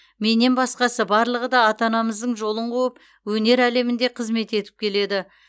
менен басқасы барлығы да ата анамыздың жолын қуып өнер әлемінде қызмет етіп келеді